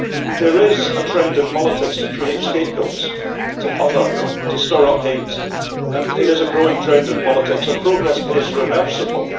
There is a trend in politics to create scapegoats to other' to store up hate, and it is a growing trend in politics and progress is reversible.